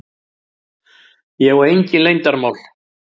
Ég á engin leyndarmál.